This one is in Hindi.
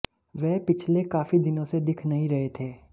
वह पिछले काफी दिनों से दिख नहीं रहे थे